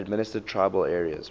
administered tribal areas